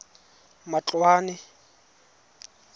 matloane